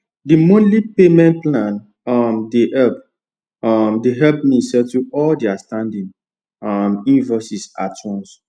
the monthly payment plan um dey um dey help me settle all the outstanding um invoices at once